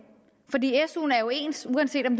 fordi suen er jo ens uanset om